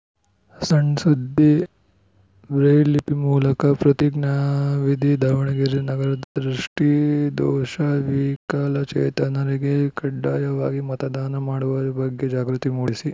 ಸಣ್‌ ಸುದ್ದಿ ಬ್ರೈಲ್‌ಲಿಪಿ ಮೂಲಕ ಪ್ರತಿಜ್ಞಾವಿಧಿ ದಾವಣಗೆರೆ ನಗರದ ದೃಷ್ಟಿದೋಷ ವಿಕಲಚೇತನರಿಗೆ ಕಡ್ಡಾಯವಾಗಿ ಮತದಾನ ಮಾಡುವ ಬಗ್ಗೆ ಜಾಗೃತಿ ಮೂಡಿಸಿ